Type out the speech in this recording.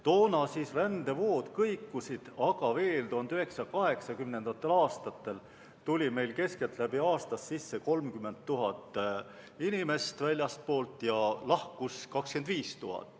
Toona rändevood kõikusid, aga veel 1980. aastatel tuli meile keskeltläbi aastas sisse 30 000 inimest väljastpoolt ja lahkus 25 000.